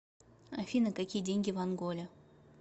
афина какие деньги в анголе